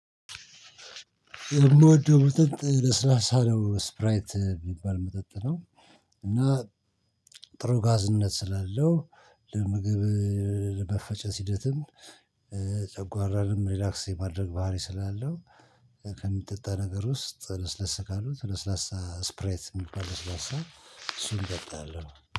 የምወደው መጠጥ ለስላሳ ነው ስፕራይት ምባል መጠጥ ነው። እና ጥሩ ጋዝነት ስላለው ለምግብ ለመፈጨት ሂደትም ጨጓራንም ሪላክስ የማድረግ ባህሪ ስላለው። ከሚጠጣ ነገር ውስጥ ለስለስ ካሉት ለስላሳ ስፕሬት የሚባል ለስላሳ እሱን እጠጣለሁ።